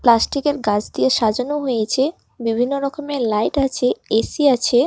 প্লাস্টিকের গাছ দিয়ে সাজানো হয়েছে বিভিন্ন রকমের লাইট আছে এ_সি আছে।